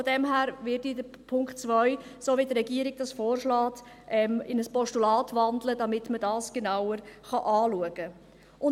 Daher werde ich Punkt 2, so wie es die Regierung vorschlägt, in ein Postulat wandeln, damit man das genauer anschauen kann.